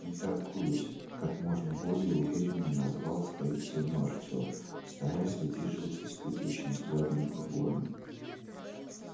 не торгуюсь как можно более уверенно назвал свою цену артем стараясь выдержать испытующий взгляд бурбона